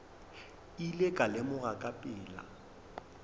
ile ka lemoga ka pela